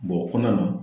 Bɔn o kɔnɔna na